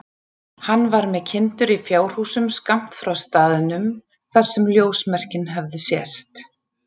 Hann var með kindur í fjárhúsum skammt frá staðnum þar sem ljósmerkin höfðu sést.